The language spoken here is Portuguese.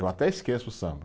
Eu até esqueço o samba.